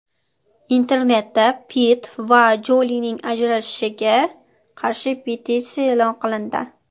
Internetda Pitt va Jolining ajrashishiga qarshi petitsiya e’lon qilindi.